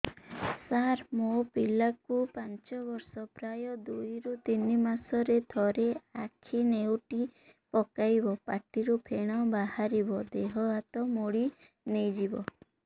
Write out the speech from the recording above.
ସାର ମୋ ପିଲା କୁ ପାଞ୍ଚ ବର୍ଷ ପ୍ରାୟ ଦୁଇରୁ ତିନି ମାସ ରେ ଥରେ ଆଖି ନେଉଟି ପକାଇବ ପାଟିରୁ ଫେଣ ବାହାରିବ ଦେହ ହାତ ମୋଡି ନେଇଯିବ